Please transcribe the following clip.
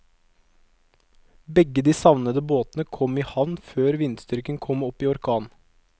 Begge de savnede båtene kom i havn før vindstyrken kom opp i orkan.